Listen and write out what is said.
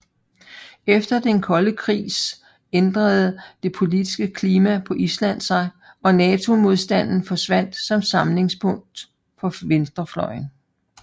Efter den kolde krigs ændrede det politiske klima på Island sig og NATO modstanden forsvandt som samlingspunkt for venstrefløjen